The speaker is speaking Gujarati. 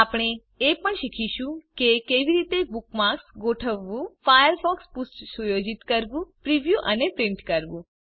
આપણે એ પણ શીખીશું કે કેવી રીતે બુકમાર્ક્સ ગોઠવવું ફાયરફોક્સ પૃષ્ઠ સુયોજિત કરવું પ્રિવ્યુ અને પ્રિન્ટ કરવું